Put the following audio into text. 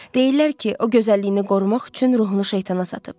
Deyirlər ki, o gözəlliyini qorumaq üçün ruhunu şeytana satıb.